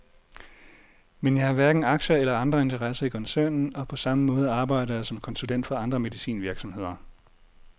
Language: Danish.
Men jeg har hverken aktier eller andre interesser i koncernen, og på samme måde arbejder jeg som konsulent for andre medicinvirksomheder.